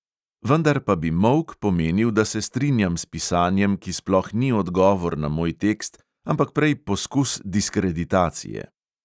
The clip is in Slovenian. Vendar pa bi molk pomenil, da se strinjam s pisanjem, ki sploh ni odgovor na moj tekst, ampak prej poskus diskreditacije.